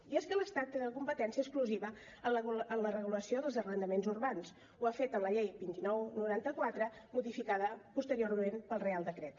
i és que l’estat té la competència exclusiva en la regulació dels arrendaments urbans ho ha fet en la llei vint nou noranta quatre modificada posteriorment pel reial decret